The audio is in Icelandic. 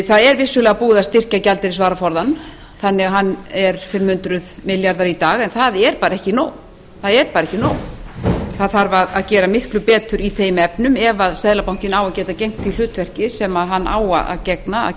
það er vissulega búið að styrkja gjaldeyrisvaraforðann þannig að hann er fimm hundruð milljarðar í dag en það er bara ekki nóg það þarf að gera miklu betur í þeim efnum ef seðlabankinn á að geta gegnt því hlutverki sem hann á að gegna að